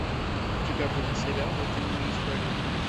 у тебя будет сериал утиные истории